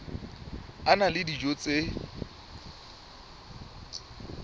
a na le dijo tse